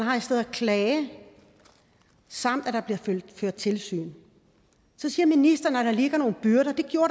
klage samt at der bliver ført tilsyn så siger ministeren at der ligger nogle byrder det gjorde